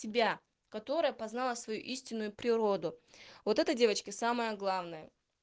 тебя которая познала свою истинную природу вот это девочки самое главное